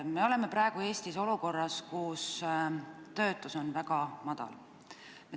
Me oleme praegu Eestis olukorras, kus töötus on väga madal.